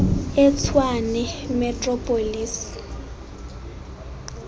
etshwane metro police